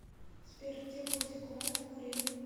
сбер где был зиккурат в уре